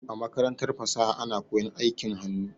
A makarantar fasaha ana koyan aikin hannu.